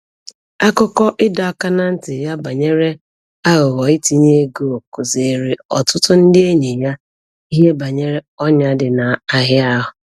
Akụkọ ịdọ aka ná ntị ya banyere aghụghọ itinye ego kụziiri ọtụtụ ndị enyi ya ihe banyere ọnyà dị n'ahịa ahụ.